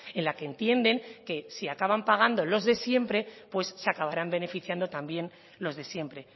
en la que entienden que si acaban pagando los de siempre pues se acabarán beneficiando también los de siempre